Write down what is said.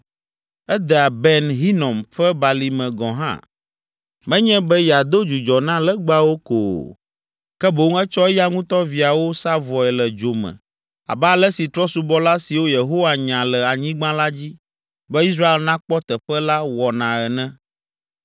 Edea Ben Hinom ƒe Balime gɔ̃ hã, menye be yeado dzudzɔ na legbawo ko o, ke boŋ etsɔ eya ŋutɔ viawo sa vɔe le dzo me abe ale si trɔ̃subɔla siwo Yehowa nya le anyigba la dzi be Israel nakpɔ teƒe la wɔna ene.